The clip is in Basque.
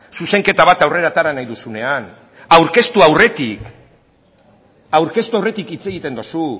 zuzenketa bat aurrera atera nahi duzuenean aurkeztu aurretik hitz egiten duzu